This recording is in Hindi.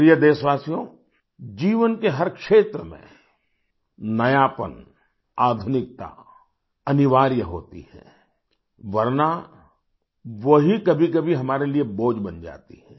प्रिय देशवासियोजीवन के हर क्षेत्र में नयापन आधुनिकता अनिवार्य होती है वरना वही कभीकभी हमारे लिए बोझ बन जाती है